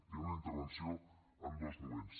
hi ha una intervenció en dos moments